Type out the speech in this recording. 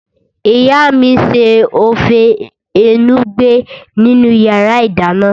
Ìyá mi n ṣe ófé enugbe nínu yàrá -ìdáná